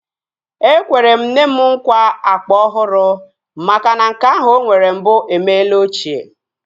Ekwere m nne m nkwa akpa ọhụrụ makana nke ahụ o nwere mbụ emela ochie